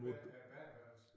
Med med badeværelse